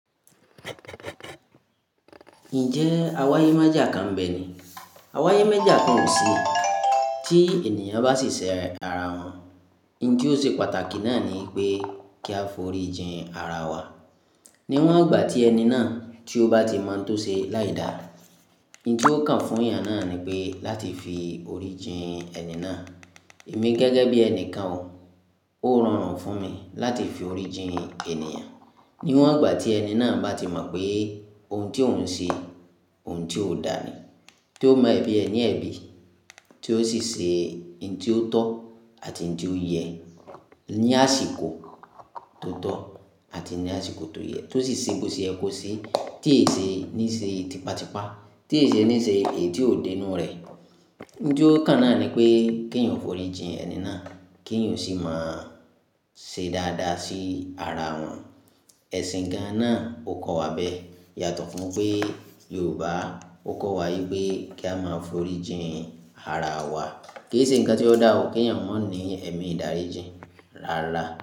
Ǹjẹ́ awáyé maajà kan ń bẹ ni? Awáyé mẹ́jà kan ò sí. Tí ènìyàn bá ṣì ṣe ara wọn, ǹ ti ó ṣe pàtàkì náà ni pé kí a fòrí jìn ara wa. Ni wọ́n àgbà tí ẹni náà tí ó bá ti mọ n tó ṣe láì dà. Ǹ ti ó kàn fún yàn náà ni pé láti fi orí jìn ẹni náà. Èmi gẹ́gẹ́ bí ẹnìkan o, ó rọrùn fún mi láti fi orí jìn ènìyàn. Ni wọ́n igbà tí ẹni náà bá ti mọ̀ pé oun tí òun ṣe, oun tí ó dà ni. Tí ó mọ ẹ̀bi ẹni ẹ̀bi, tí ó sì se ǹ ti ó tọ́ àti ǹ ti ó yẹ. Ni àsìkò tó tọ́ àti ní àsìkò tó yẹ. Tí ó sì ṣe bi ò ṣe yẹ ko ṣe, tí e ṣe ní ṣe tipa tipa, tí e ṣe ní ṣe èyí tí ò dé inú rẹ̀. Ǹ ti ó kàn náà ni pé kí èèyàn fòrí jìn ẹni náà, kí èèyàn sì máa ṣe dáadáa sí ara wọn. Ẹ̀sìn gán-an náà ó kọ́ wa bẹ́. Yàtọ̀ fún pé Yorùbá ó kọ́ wa wípé kí a máa fòrí jìn ara wa. Kí ì ṣe ǹkan tí ó dà ọ̀, kí èèyàn maa ní ẹ̀mí ìdáríjìn rára.